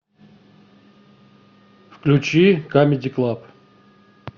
включи камеди клаб